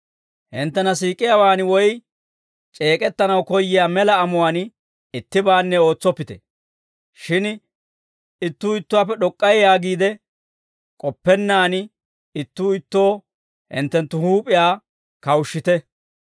Hinttena siik'iyaawaan woy c'eek'ettanaw koyyiyaa mela amuwaan ittibaanne ootsoppite; shin ittuu ittuwaappe d'ok'k'ay yaagiide k'oppennaan, ittuu ittoo hinttenttu huup'iyaa kawushshite.